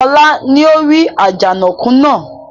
Ọlá ni ó rí Àjànàkú náà